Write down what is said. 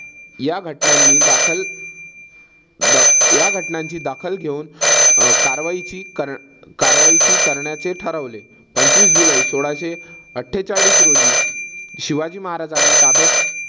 या घटनांनी दाखल या घटनांची दखल घेऊन कारवाईची कारवाईची करण्याचे ठरवले. पंचवीस जुलै सोळाशे अठ्ठेचाळीस रोजी शिवाजी महाराजांना ताब्यात